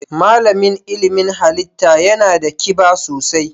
Malamin ilimin halitta yana da kiba sosai.